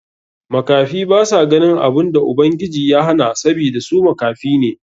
Makafi basa ganin abun da Ubangiji ya hana sabida su makafi ne.